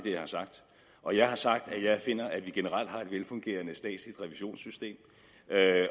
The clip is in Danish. jeg har sagt og jeg har sagt at jeg finder at vi generelt har et velfungerende statsligt revisionssystem